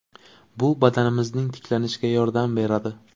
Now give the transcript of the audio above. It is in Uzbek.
Bu badanimizning tiklanishiga yordam beradi.